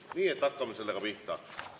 Nii et hakkame sellega pihta.